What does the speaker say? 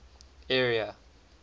area